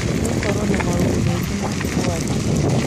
Nĩ gũkoretwo na maũndũ maingĩ maritũ Wajir.